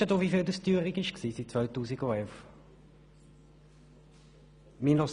Weisst du denn, wie viel die Teuerung seit 2011 betragen hat?